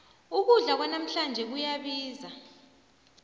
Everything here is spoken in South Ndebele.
ukudla kwanamhlanje kuyabiza